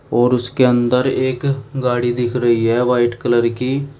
और उसके अंदर एक गाड़ी दिख रही है वाइट कलर की।